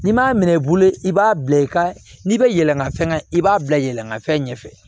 N'i m'a minɛ i bolo i b'a bila i ka n'i bɛ yɛlɛnna fɛn kan i b'a bila yɛlɛmafɛn ɲɛfɛ